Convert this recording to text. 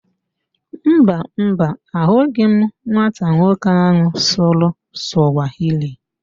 Mba, Mba, ahụghị m nwata nwoke ahụ sụrụ Sụwahili